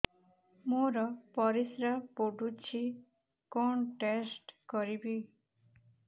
ମୋର ପରିସ୍ରା ପୋଡୁଛି କଣ ଟେଷ୍ଟ କରିବି